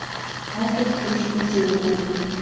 Ágæt kjörsókn á Suðurlandi